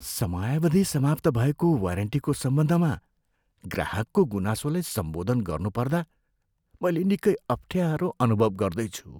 समयावधि समाप्त भएको वारेन्टीको सम्बन्धमा ग्राहकको गुनासोलाई सम्बोधन गर्नुपर्दा मैले निकै अप्ठ्यारो अनुभव गर्दैछु।